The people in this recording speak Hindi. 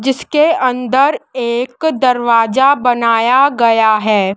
जिसके अंदर एक दरवाजा बनाया गया है।